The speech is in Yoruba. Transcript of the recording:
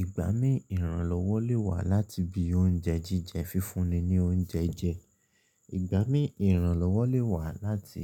Ìgbà mí ìran lọ́wọ́ lè wá láti bí oúnjẹ jíjẹ fífúnni ní oúnjẹ jẹ. Ìgbà mí ìran lọ́wọ́ lè wá láti